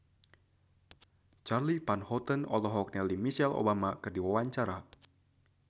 Charly Van Houten olohok ningali Michelle Obama keur diwawancara